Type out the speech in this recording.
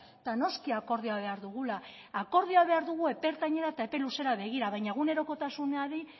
eta noski akordioa behar dugula akordioa behar dugu epe ertainera eta epe luzera begira baina egunerokotasunari